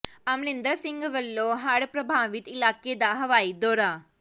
ਅਮਰਿੰਦਰ ਸਿੰਘ ਵੱਲੋਂ ਹੜ੍ਹ ਪ੍ਰਭਾਵਿਤ ਇਲਾਕੇ ਦਾ ਹਵਾਈ ਦੌਰਾ